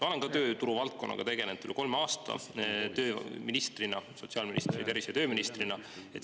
Ma olen ka tööturuvaldkonnaga tegelenud üle kolme aasta tööministrina, nii sotsiaalministrina kui ka tervise- ja tööministrina.